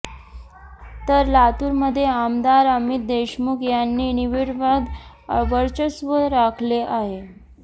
तर लातूरमध्ये आमदार अमित देशमुख यांनी निर्विवाद वर्चस्व राखले आहे